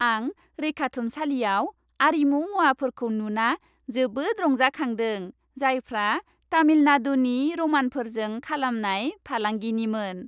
आं रैखाथुमसालियाव आरिमु मुवाफोरखौ नुना जोबोद रंजाखांदों, जायफ्रा तामिलनाडुनि र'मानफोरजों खालामनाय फालांगिनिमोन।